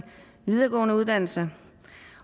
videregående uddannelser